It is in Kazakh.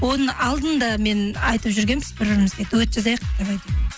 оның алдында мен айтып жүргенбіз бір бірімізге дуэт жазайық давай деді